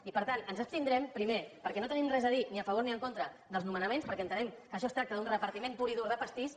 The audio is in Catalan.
i per tant ens abstindrem primer perquè no tenim res a dir ni a favor ni en contra dels nomenaments perquè entenem que això es tracta d’un repartiment pur i dir de pastís